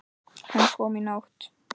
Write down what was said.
Hann kom í nótt.